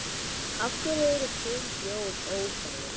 Af hverju eru sum hljóð óþægileg?